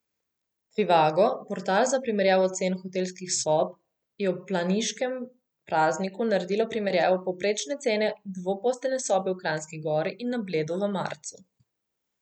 Trivago, portal za primerjavo cen hotelskih sob, je ob planiškem prazniku naredil primerjavo povprečne cene dvoposteljne sobe v Kranjski Gori in na Bledu v marcu.